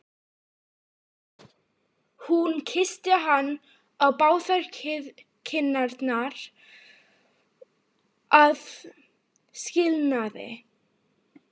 Hún kyssti hann á báðar kinnar að skilnaði.